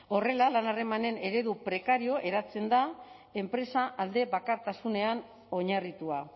horrela lan harremanen eredu prekarioa eratzen da enpresa aldebakartasunean oinarritua